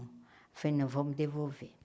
Falei, não, vamos devolver.